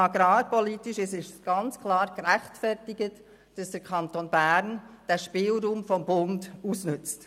Agrarpolitisch ist es ganz klar gerechtfertigt, dass der Kanton Bern diesen Spielraum des Bundes ausnützt.